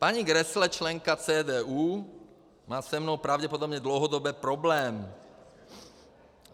Paní Grässle, členka CDU, má se mnou pravděpodobně dlouhodobé problémy.